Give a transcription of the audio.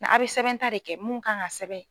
a' bɛ sɛbɛnta de kɛ mun kan ka sɛbɛn.